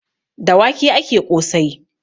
Da wake ake ƙosai.